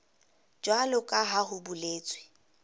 jwalo ka ha ho boletswe